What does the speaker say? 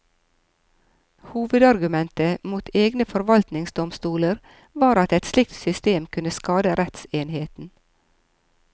Hovedargumentet mot egne forvaltningsdomstoler var at et slikt system kunne skade rettsenheten.